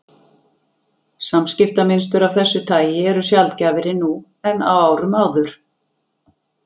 Samskiptamynstur af þessu tagi eru sjaldgæfari nú en á árum áður.